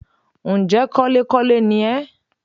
Ǹ jẹ́ kọ́lékọ́le ni ẹ́